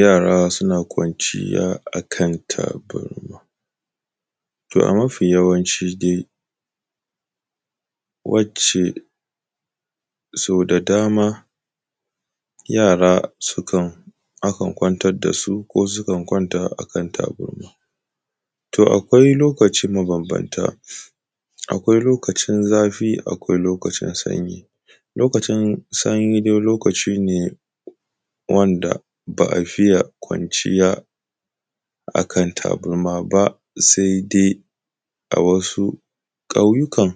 yara suna kwanciya a kan tabarma to a mafiyawanci dai wacce so da dama yara sukan akan kwantar da su ko su kan kwanta a kan tabarma to akwai lokaci mabambanta akwai lokacin zafi akwai lokacin sanyi lokacin sanyi dai lokaci ne wanda ba a fiye kwanciya ba a tabarma ba sai dai a wasu ƙauyukan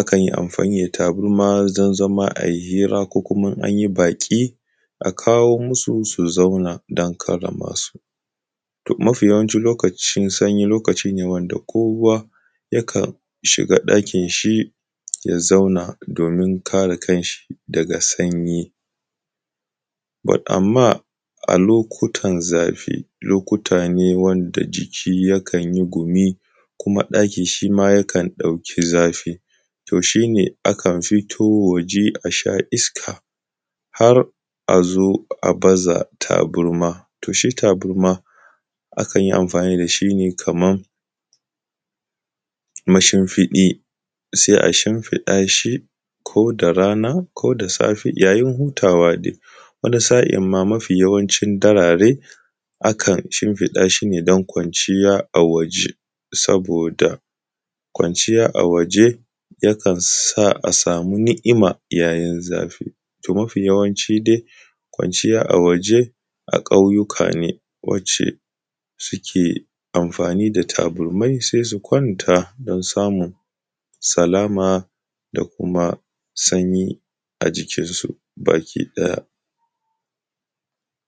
akan yi amfani da tabarma don zama a yi hira ko kuma in an yi baƙi a kawo masu su zauna don karrama su to mafiyawancin lokacin sanyi lokaci ne wanda kowa yakan shiga ɗakin shi ya zauna domin kare kanshi daga sanyi but amma a lokutan zafi lokuta ne wanda jiki ya kan yi gumi kuma ɗaki shima yakan ɗauki zafi toh shine a kan fito waje a sha iska har a zo a baza tabarma to shi tabarma akan yi amfani da shi ne kamar mashinfiɗi sai a shinfiɗa shi koda rana koda safe yayin hutawa dai wani sa’in ma mafiyawanci da dare akan shimfiɗa shi ne don kwanciya a waje saboda kwanciya a waje ya kansa a samu ni'ima yayin zafi to mafiyawancin dai kwanciya a waje a ƙauyuka ne wacce suke amfani da taburmai sai su kwanta don samun salama da kuma sanyi a jikin su baki ɗaya